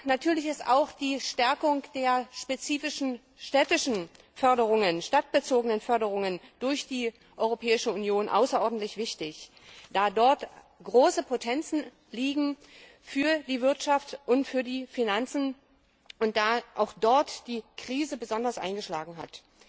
Natürlich ist auch die Stärkung der spezifischen stadtbezogenen Förderungen durch die Europäische Union außerordentlich wichtig, da dort große Potenziale für die Wirtschaft und für die Finanzen liegen, da auch dort die Krise besonders eingeschlagen hat.